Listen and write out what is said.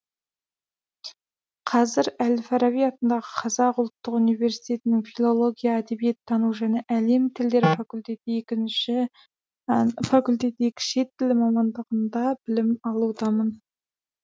қазір әл фараби атындағы қазақ ұлттық университетінің филология әдебиеттану және әлем тілдері факультеті екі шет тілі мамандығында білім алудамын